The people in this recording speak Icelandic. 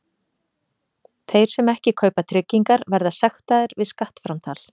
Þeir sem ekki kaupa tryggingar verða sektaðir við skattframtal.